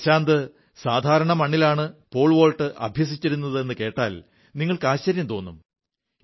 പ്രശാന്ത് സാധാരണ മണ്ണിലാണ് പോൾവോൾട്ട് അഭ്യസിച്ചിരുന്നതെന്നു കേട്ടാൽ നിങ്ങൾക്ക് ആശ്ചര്യം തോന്നും